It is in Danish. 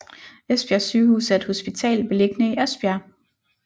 Esbjerg Sygehus er et hospital beliggende i Esbjerg